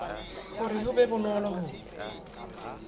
hore ho be bonolo ho